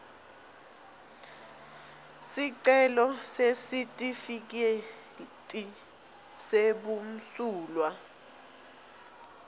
sicelo sesitifiketi sebumsulwa